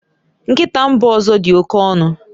Nkịta mba ọzọ dị oke ọnụ